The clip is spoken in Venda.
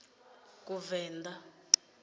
kuvenḓa